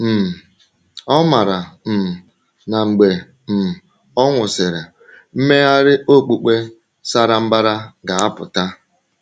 um O maara um na mgbe um ọ nwụsịrị, mmegharị okpukpe sara mbara ga-apụta.